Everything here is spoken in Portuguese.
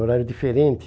É um horário diferente.